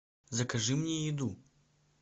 закажи мне еду